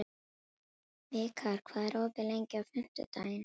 Vikar, hvað er opið lengi á fimmtudaginn?